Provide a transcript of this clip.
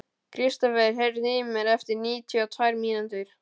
Kristofer, heyrðu í mér eftir níutíu og tvær mínútur.